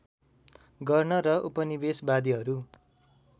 गर्न र उपनिवेशवादीहरू